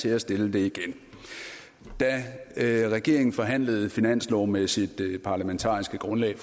til at stille det igen da regeringen forhandlede finansloven med sit parlamentariske grundlag